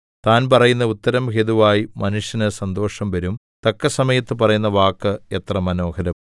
താൻ പറയുന്ന ഉത്തരം ഹേതുവായി മനുഷ്യന് സന്തോഷം വരും തക്കസമയത്ത് പറയുന്ന വാക്ക് എത്ര മനോഹരം